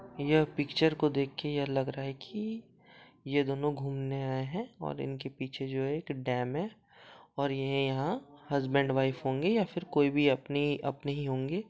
यह पिक्चर को देख के यह लग रहा है की ये दोनों घूमने आए है और इनके पीछे जो है एक डेम है और ये यहाँ हस्बैंड वाइफ होंगे या फिर कोई अपने ही अपने ही होंगे।